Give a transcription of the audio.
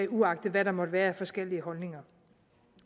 uagtet hvad der måtte være af forskellige holdninger